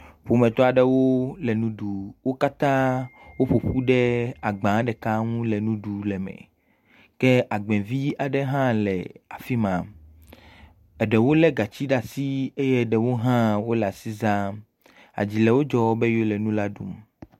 Ƒometɔ aɖewo le nu ɖu. Wo katã woƒo ƒu ɖe agbã ɖeka ŋu le nu ɖu le eme. Ke agbɛ vii aɖe hã le afi ma. Eɖewo lé gatsi ɖe asi eye ɖewo hã wole asi zãm. Adzi le wodzɔ be ywo le nu la dum.